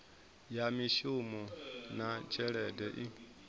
ya mishumo na tshelede i